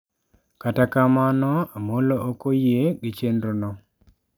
Kata kamano Amollo ok oyie gi chenro no.